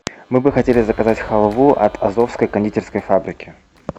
мы бы хотели заказать халву от азовской кондитерской фабрики